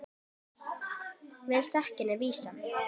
Vel þekkt er vísan